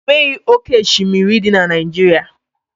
E nweghị oke oshimiri dị na Naijiria.